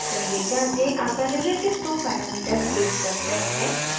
पहले जाँचें अगर relative to parameter page पर set है